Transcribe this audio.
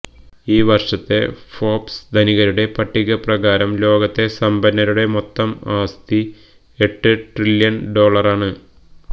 ഈ വര്ഷത്തെ ഫോബ്സ് ധനികരുടെ പട്ടിക പ്രകാരം ലോകത്തെ സമ്പന്നരുടെ മൊത്തം ആസ്തി എട്ട് ട്രില്യണ് ഡോളറാണ്